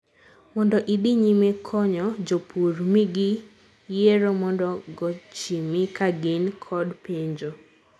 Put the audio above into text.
mondo idhi nyime konyo jopur, migi yiero mondo gochimi kagin kod penjo